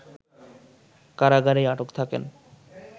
কারাগারেই আটক থাকেন